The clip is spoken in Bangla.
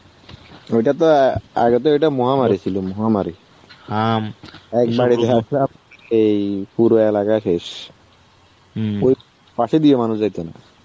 ওইটা তো আগে তো এটা মহামারী ছিল মহামারী. উম একবারে দেখ এই পুরো এলাকা শেষ. ওই পাশে দিয়ে মানুষ যাইতো না.